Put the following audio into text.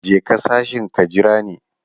Je ka sashin ka jira ni.